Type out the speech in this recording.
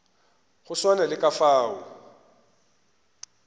go swana le ka fao